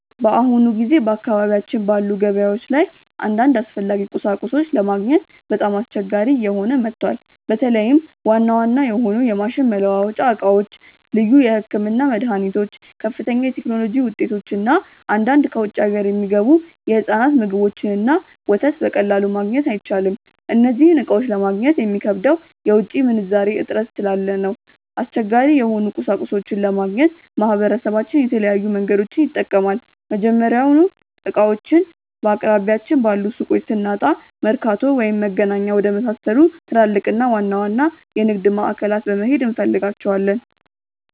በአሁኑ ጊዜ በአካባቢያችን ባሉ ገበያዎች ላይ አንዳንድ አስፈላጊ ቁሳቁሶችን ለማግኘት በጣም አስቸጋሪ እየሆነ መጥቷል። በተለይም ዋና ዋና የሆኑ የማሽን መለዋወጫ ዕቃዎች፣ ልዩ የሕክምና መድኃኒቶች፣ ከፍተኛ የቴክኖሎጂ ውጤቶች እና አንዳንድ ከውጭ አገር የሚገቡ የሕፃናት ምግቦችንና ወተት በቀላሉ ማግኘት አይቻልም። እነዚህን ዕቃዎች ለማግኘት የሚከብደው የውጭ ምንዛሬ እጥረት ስላለ ነው። አስቸጋሪ የሆኑ ቁሳቁሶችን ለማግኘት ማህበረሰባችን የተለያዩ መንገዶችን ይጠቀማል። መጀመሪያውኑ ዕቃዎቹን በአቅራቢያችን ባሉ ሱቆች ስናጣ፣ መርካቶ ወይም መገናኛ ወደመሳሰሉ ትላልቅና ዋና ዋና የንግድ ማዕከላት በመሄድ እንፈልጋቸዋለን።